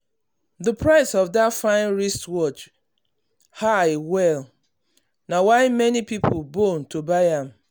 the price of that fine wristwatch fine wristwatch high well na why many people bone to buy am.